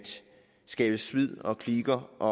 skabe splid og kliker og